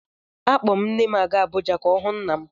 Akpọ m nne m a gaa Abụja ka ọ hụ nna m.